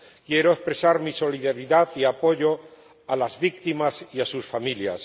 Quiero expresar mi solidaridad y apoyo a las víctimas y a sus familias.